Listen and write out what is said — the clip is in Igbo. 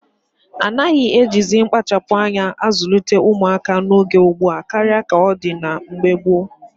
A naghị ejizi mkpachapụ́ anya azụlite ụmụaka n'oge ugbua karịa ka ọ dị na mgbe gboo